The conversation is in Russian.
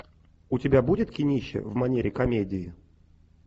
у тебя будет кинище в манере комедии